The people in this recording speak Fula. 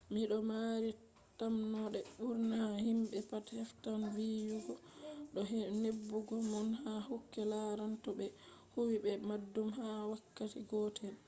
mi do maari tammonde bur’na himbe pat heftan viyugo do nebugo mon ha kude lartan to be huwi be baddum ha wakkati gotel